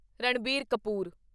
Ranbir Kapoor